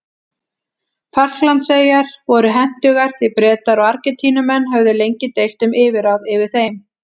Falklandseyjar voru hentugar því Bretar og Argentínumenn höfðu lengi deilt um yfirráð yfir þeim.